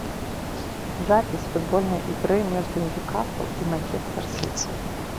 запись футбольной игры между ньюкасл и манчестер сити